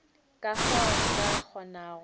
ka fao a ka kgonago